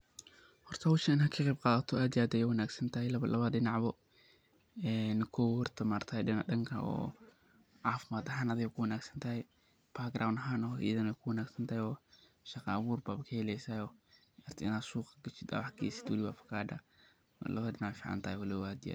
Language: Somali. Horta howshan inaad ka qeyb qadato aad ayey muhim u tahay labada dinac bo cafimad ahan, adey ku wanag santahay iyo background ahan adey ku wanag santahay oo suq inaa geysato.